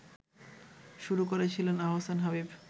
শুরু করেছিলেন আহসান হাবীব